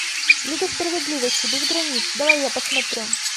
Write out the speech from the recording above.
лига справедливости без границ давай я посмотрю